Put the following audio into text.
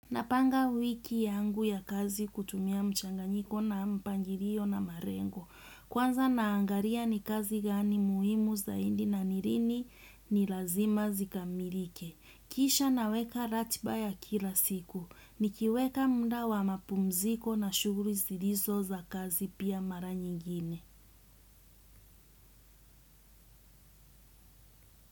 Napanga wiki yangu ya kazi kutumia mchanganyiko na mpangirio na marengo. Kwanza naangaria ni kazi gani muhimu za indi na ni lini ni lazima zikamirike. Kisha naweka ratiba ya kila siku. Nikiweka mda wa mapumziko na shughuri zilizo za kazi pia mara nyingine.